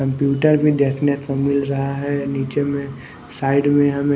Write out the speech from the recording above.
computer भी देखने को मिल रहा है नीचे में साइड में हमे--